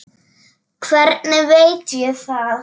Hvernig veit ég það?